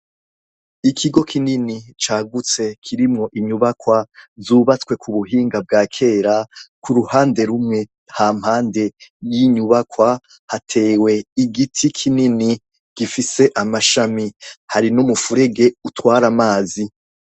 Ikigo kinini cagutse kirimwo inyubakwa zubatswe ku buhinga bwa kera, ku ruhande rumwe hampande y'inyubakwa hatewe igiti kinini gifise amashami. Hari n'umufurege utwara amazi.